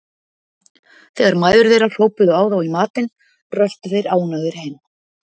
Þegar mæður þeirra hrópuðu á þá í matinn röltu þeir ánægðir heim.